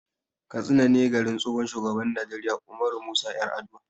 Katsina ne garin tsohon shugaban Najeriya Ummaru Musa 'Yaraduwa.